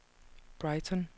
Brighton